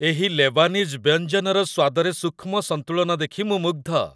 ଏହି ଲେବାନିଜ୍ ବ୍ୟଞ୍ଜନର ସ୍ୱାଦରେ ସୂକ୍ଷ୍ମ ସନ୍ତୁଳନ ଦେଖି ମୁଁ ମୁଗ୍ଧ।